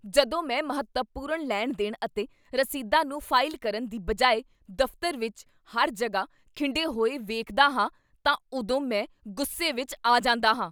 ਜਦੋਂ ਮੈਂ ਮਹੱਤਵਪੂਰਨ ਲੈਣ ਦੇਣ ਅਤੇ ਰਸੀਦਾਂ ਨੂੰ ਫਾਈਲ ਕਰਨ ਦੀ ਬਜਾਏ ਦਫ਼ਤਰ ਵਿੱਚ ਹਰ ਜਗ੍ਹਾ ਖਿੰਡੇ ਹੋਏ ਵੇਖਦਾ ਹਾਂ ਤਾਂ ਉਦੋਂ ਮੈਂ ਗੁੱਸੇ ਵਿੱਚ ਆ ਜਾਂਦਾ ਹਾਂ